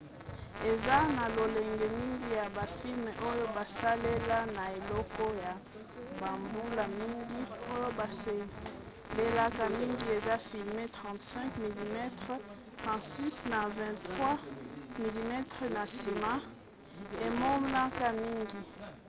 eza na lolenge mingi ya bafilme oyo basalela na eleko ya bambula mingi. oyo basalelaka mingi eza filme 35 mm 36 na 24 mm na nsima emonanaka mingi